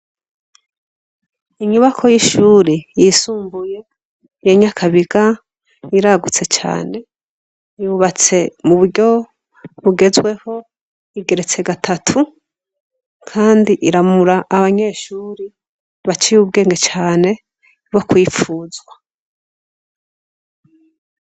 Inyubakwa y' ishure yisumbuye mu Nyakabiga iragutse cane yubatse mu buryo bugezweho igeretse gatatu kandi iramura abanyeshure baciye ubwenge cane bo kwipfuzwa.